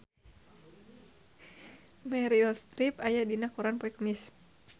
Meryl Streep aya dina koran poe Kemis